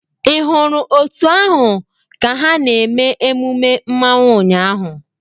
Ị hụrụ òtù ahụ ka ha na-eme emume Mmanwu ụnyahụ?